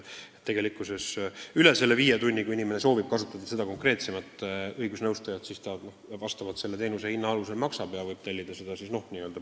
Tegelikkuses ongi nii, et kui inimene soovib konkreetse õigusnõustajaga nõu pidada kauem kui viis tundi, siis nende ülejäänud tundide eest tuleb tal maksta teenuse hinnakirja alusel.